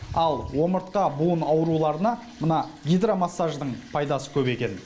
ал омыртқа буын ауруларына мына гидромассаждың пайдасы көп екен